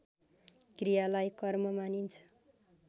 क्रियालाई कर्म मानिन्छ